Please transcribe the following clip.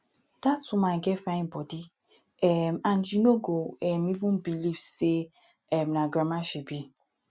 dat woman get fine body um and you no go um even believe say um na grandma she be